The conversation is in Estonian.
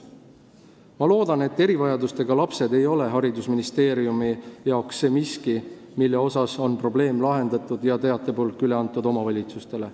Ma loodan, et erivajadustega lapsed ei ole haridusministeeriumi jaoks see miski, kus probleem on lahendatud ja teatepulk üle antud omavalitsustele.